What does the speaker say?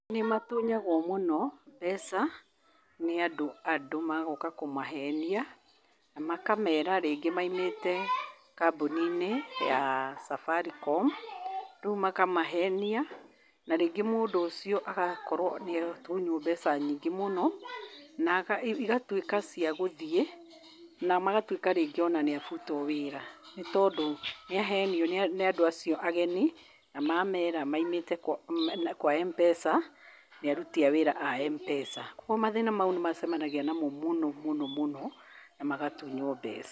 Nĩ matunyagwo mũno mbeca, nĩ andũ magoka kũmahenia ,na makamera rĩngĩ maimĩte kambuni-inĩ ya safaricom rĩu makamahenia na rĩngĩ mũndũ ũcio agakorwo nĩ atunyuo mbeca nyingĩ mũno, na igatuĩka cia gũthiĩ, na magatuĩka rĩngĩ ona nĩ abutuo wĩra nĩ tondũ nĩ ahenio nĩ andũ acio ageni, na mameera maimĩte kwa M-pesa , nĩ aruti a wĩra a M-pesa . Koguo mathĩna mau nĩ macemanagia namo mũno mũno mũno na magatunyuo mbeca.